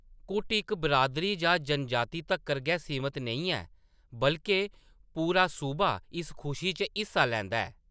कुट इक बिरादरी जां जनजाति तक्कर गै सीमत नेईं ऐ, बल्के पूरा सूबा इस खुशी च हिस्सा लैंदा ऐ।